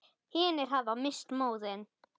Hinir hafa misst móðinn.